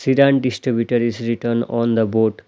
Shiddhant distributor is written on the board.